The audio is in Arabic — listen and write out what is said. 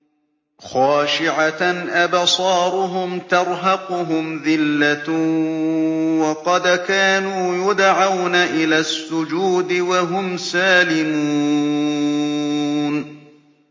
خَاشِعَةً أَبْصَارُهُمْ تَرْهَقُهُمْ ذِلَّةٌ ۖ وَقَدْ كَانُوا يُدْعَوْنَ إِلَى السُّجُودِ وَهُمْ سَالِمُونَ